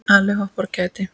Allir hoppa af kæti.